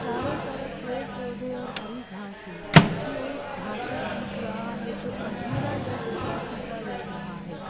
तारों तरफ पेड़ पौधे और हरी घसा है पीछे एक ढांचा दिख रहा है जो अधूरा यह टूटा फूटा लग रहा है।